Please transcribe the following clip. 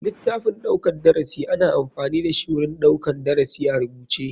Litaffin ɗaukar darasi ana amfani dashi wurin ɗaukar darasi a rubuce.